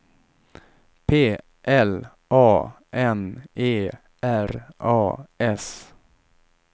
P L A N E R A S